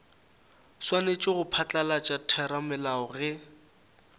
swanetše go phatlalatša theramelao ge